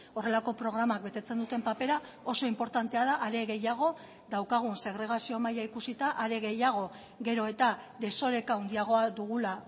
horrelako programak betetzen duten papera oso inportantea da are gehiago daukagun segregazio maila ikusita are gehiago gero eta desoreka handiagoa dugula